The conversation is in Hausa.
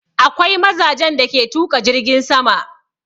Akwai mazajen da ke tuƙa jirgin sama.